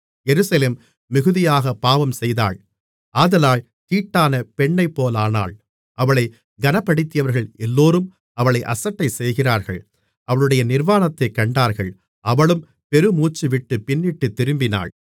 எருசலேம் மிகுதியாகப் பாவம்செய்தாள் ஆதலால் தீட்டான பெண்ணைப்போலானாள் அவளைக் கனப்படுத்தியவர்கள் எல்லோரும் அவளை அசட்டை செய்கிறார்கள் அவளுடைய நிர்வாணத்தைக் கண்டார்கள் அவளும் பெருமூச்சுவிட்டுப் பின்னிட்டுத் திரும்பினாள்